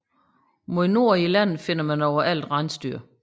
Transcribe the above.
Mod nord i landet finder man overalt rensdyr